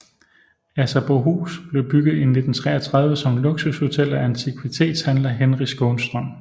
Asserbohus blev bygget i 1933 som luksushotel af antikvitetshandler Henry Skånstrøm